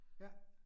Ja